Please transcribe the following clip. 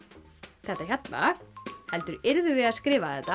þetta hérna heldur yrðu þau að skrifa þetta